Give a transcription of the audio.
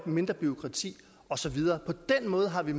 mindre bureaukrati og så videre på den måde har vi